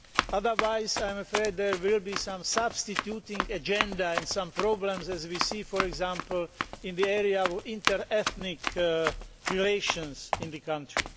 Otherwise, I am afraid there will be some substituting agenda in some programmes as we see, for example, in the area of inter ethnic relations in the country.